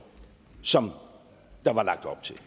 som der var lagt op til